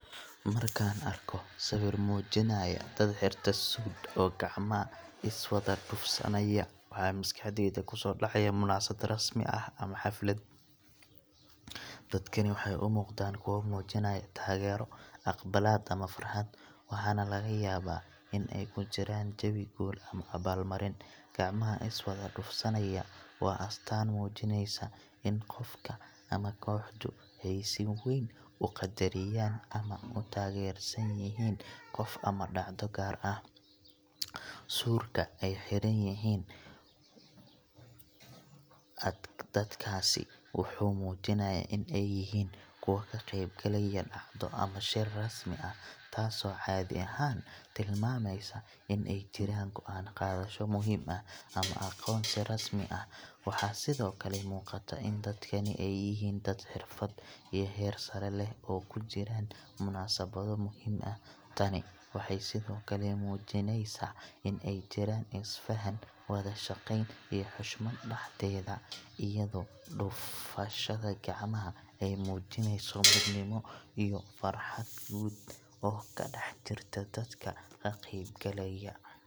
Markaan arko sawir muujinaya dad xirta suudh oo gacmaha is wada dhufsanaya, waxa maskaxdayda ku soo dhacaya munaasabad rasmi ah ama xaflad. Dadkani waxay u muuqdaan kuwo muujinaya taageero, aqbalaad, ama farxad, waxaana laga yaabaa in ay ku jiraan jawi guul ama abaalmarin. Gacmaha is wada dhufsanaya waa astaan muujinaysa in qofka ama kooxdu ay si weyn u qadariyaan ama u taageersan yihiin qof ama dhacdo gaar ah. Suudhka ay xiran yihiin dadkaasi wuxuu muujinayaa in ay yihiin kuwo ka qeyb galaya dhacdo ama shir rasmi ah, taasoo caadi ahaan tilmaamaysa in ay jiraan go'aan qaadasho muhiim ah ama aqoonsi rasmi ah. Waxaa sidoo kale muuqata in dadkani ay yihiin dad xirfad iyo heer sare leh oo ku jiraan munaasabado muhiim ah. Tani waxay sidoo kale muujinaysaa in ay jiraan isfahan, wada-shaqeyn, iyo xushmad dhexdeeda, iyadoo dhufashada gacmaha ay muujinayso midnimo iyo farxad guud oo ka dhex jirta dadka ka qeyb galaya.